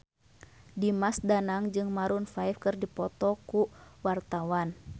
Dimas Danang jeung Maroon 5 keur dipoto ku wartawan